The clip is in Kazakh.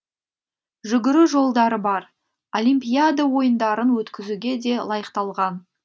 жүгіру жолдары бар олимпиада ойындарын өткізуге де лайықталған